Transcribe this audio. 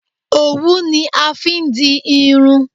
òwún ni a fi n di irun